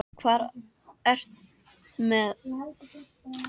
Hvað ertu með þarna, Óli minn?